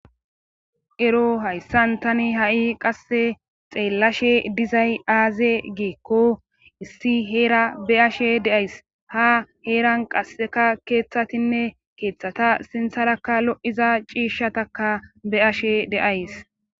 ero hayssan tani ha'i qasse xeellashe dizay aaze geekko issi heera be'ashe deays ha heeran qasseka keeththatinne keeththata sintharakka lo'iza ciishshataka beashe de'ays